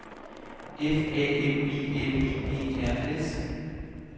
F A M I L I E R S